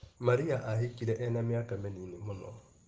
Maria ahikire ena mĩaka mĩnini mũno.